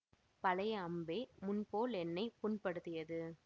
பழைய அம்பே முன்போல் என்னை புண்படுத்தியது